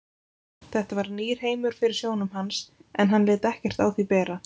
Þetta var nýr heimur fyrir sjónum hans en hann lét ekkert á því bera.